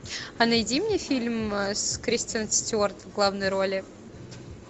а найди мне фильм с кристен стюарт в главной роли